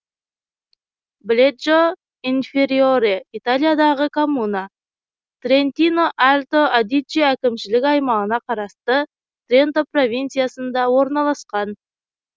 бледжо инфериоре италиядағы коммуна трентино альто адидже әкімшілік аймағына қарасты тренто провинциясында орналасқан